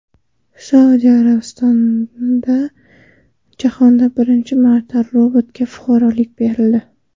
Saudiya Arabistonida jahonda birinchi marta robotga fuqarolik berildi.